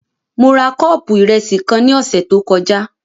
Mo ra kọ́ọ̀pù ìrẹsì kan ní ọ̀sẹ̀ tó kọjá